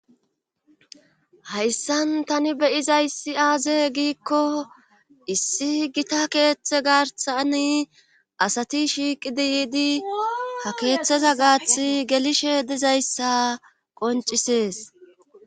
hayssan tani be7izayssi aaze giikko issi gita keeththe garsani asati shiiqidi yiidi ha keeththeza gaathi gelishe dizayssa qoncisees